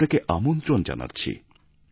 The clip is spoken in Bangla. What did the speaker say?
আমি আপনাকে আমন্ত্রণ জানাচ্ছি